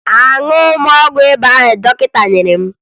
Aṅụghị m ọgwụ ịba ahụ dọkịta nyere m